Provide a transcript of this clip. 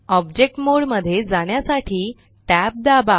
object mode मध्ये जाण्यासाठी tab दाबा